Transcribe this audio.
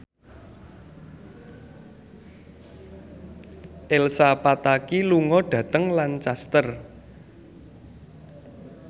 Elsa Pataky lunga dhateng Lancaster